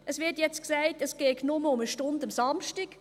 Jetzt wird gesagt, es gehe nur um eine Stunde am Samstag.